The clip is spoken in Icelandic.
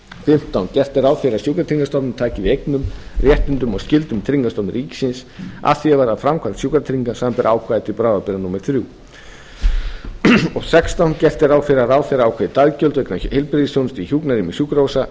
fimmtán gert er ráð fyrir að sjúkratryggingastofnunin taki við eignum réttindum og skyldum tryggingastofnunar ríkisins að því er varðar framkvæmd sjúkratrygginga samanber ákvæði til bráðabirgða númer þrjú sextán gert er ráð fyrir að ráðherra ákveði daggjöld vegna heilbrigðisþjónustu í hjúkrunarrýmum sjúkrahúsa